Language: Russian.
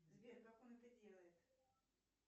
сбер как он это делает